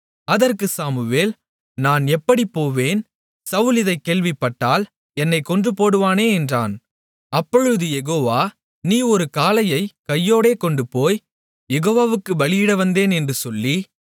அதற்குச் சாமுவேல் நான் எப்படிப்போவேன் சவுல் இதைக் கேள்விப்பட்டால் என்னைக் கொன்றுபோடுவானே என்றான் அப்பொழுது யெகோவா நீ ஒரு காளையைக் கையோடே கொண்டுபோய் யெகோவாவுக்குப் பலியிடவந்தேன் என்று சொல்லி